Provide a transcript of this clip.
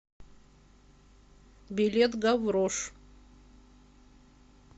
билет гаврош